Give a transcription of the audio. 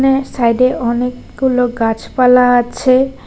সাইডে অনেকগুলো গাছপালা আছে।